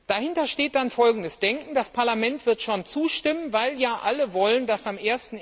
Dahinter steht dann folgendes Denken Das Parlament wird schon zustimmen, weil ja alle wollen, dass am